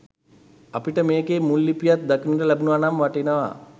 අපිට මෙකෙ මුල් ලිපියත් දකින්න ලැබුන නම් වටිනවා.